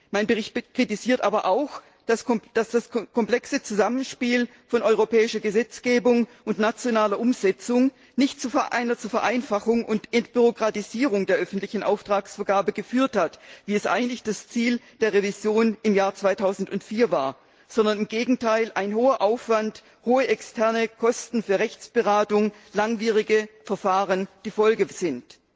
Mein Bericht kritisiert aber auch, dass das komplexe Zusammenspiel von europäischer Gesetzgebung und nationaler Umsetzung nicht zu einer Vereinfachung und Entbürokratisierung der öffentlichen Auftragsvergabe geführt hat, wie es eigentlich das Ziel der Revision im Jahr 2004 war, sondern im Gegenteil ein hoher Aufwand, hohe externe Kosten für Rechtsberatung, langwierige Verfahren die Folge sind.